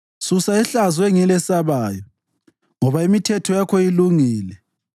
Susa ihlazo engilesabayo, ngoba imithetho yakho ilungile.